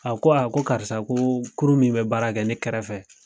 A ko a ko karisa ko kurun min be baara kɛ ne kɛrɛfɛ